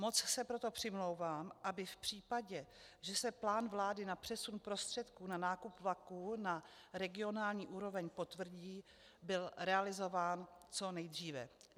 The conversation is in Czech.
Moc se proto přimlouvám, aby v případě, že se plán vlády na přesun prostředků na nákup vlaků na regionální úroveň potvrdí, byl realizován co nejdříve.